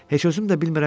Heç özüm də bilmədim.